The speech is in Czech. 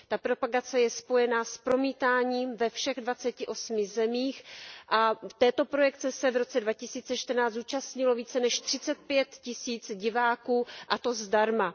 Ta propagace je spojená s promítáním ve všech dvaceti osmi zemích a této projekce se v roce 2014 zúčastnilo více než třicet pět tisíc diváků, a to zdarma.